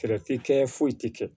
tɛ kɛ foyi tɛ kɛ